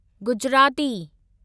Gujarati